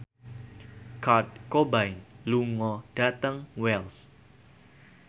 Kurt Cobain lunga dhateng Wells